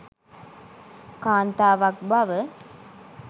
කාන්තාවක් බව.